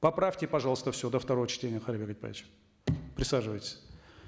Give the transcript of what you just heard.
поправьте пожалуйста все до второго чтения кайырбек айтбаевич присаживайтесь